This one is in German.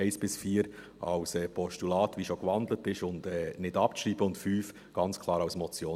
die Punkte 1 bis 4 als Postulat – wie schon gewandelt, und nicht abschreiben –, und den Punkt 5 ganz klar als Motion.